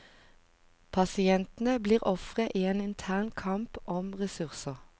Pasientene blir ofre i en intern kamp om ressurser.